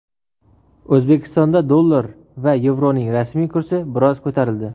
O‘zbekistonda dollar va yevroning rasmiy kursi biroz ko‘tarildi.